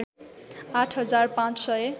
आठ हजार पाँच सय